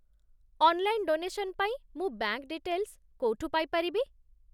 Online donation ପାଇଁ ମୁଁ bank details କୋଉଠୁ ପାଇପାରିବି?